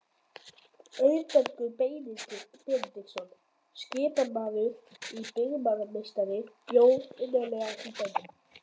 Auðbergur Benediktsson, skipasmiður og byggingarmeistari, bjó innarlega í bænum.